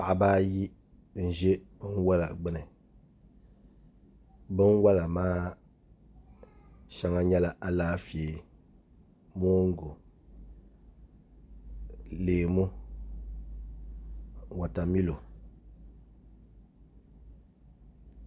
Paɣaba ayi n ʒɛ binwola gbuni binwola maa shɛŋa nyɛla Alaafee moongu leemu wotamilo